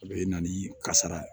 A bɛ na ni kasara ye